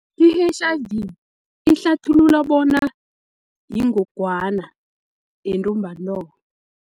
I-H_I_V ihlathulula bona yingogwana yentumbantonga.